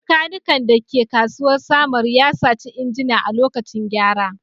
Maikanikan da ke kasuwar Samaru ya saci injina a lokacin gyara